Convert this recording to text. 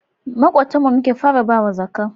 Makotan mu muke fara bawa zaka